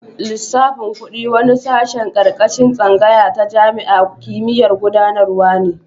Lissafin kudi wani sashen karkashin tsangaya ta jami'an kimiyya'n gudanarwa ne.